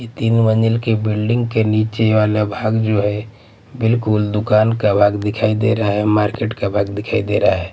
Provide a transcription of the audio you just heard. ये तीन मंजिल की बिल्डिंग के नीचे वाला भाग जो हैं बिलकुल दुकान का भाग दिखाई दे रहा हैं मार्किट का भाग दिखाई दे रहा हैं।